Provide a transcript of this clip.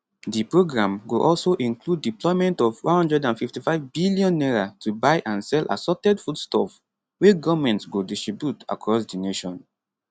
di programme go also include deployment of n155 billion to buy and sell assorted foodstuff wey goment go distribute across di nation